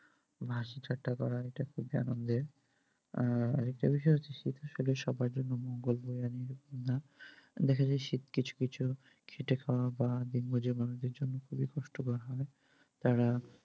হাসিঠাট্টা করা এটা খুব আনন্দের আর একটা বিষয় হচ্ছে শীত সবার জন্য মঙ্গল বয়ে আনে না, দেখা যায় যে শীত কিছু কিছু খেটে খাওয়া বা দিন মুজুর মানুষদের জন্য খুবই কষ্টকর হয়।